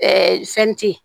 fɛnti